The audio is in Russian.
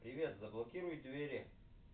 привет заблокируй двери